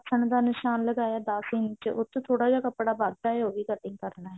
ਦਾ ਨਿਸ਼ਾਨ ਲਗਾਇਆ ਦਸ ਇੰਚ ਉਹਤੋਂ ਥੋੜਾ ਜਾ ਕੱਪੜਾ ਵੱਧ ਹੈ ਉਹ ਵੀ cutting ਕਰਨਾ ਹੈ